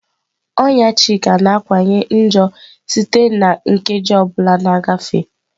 Ọnya Chika na-akawanye njọ site na nkeji ọ bụla na-agafe.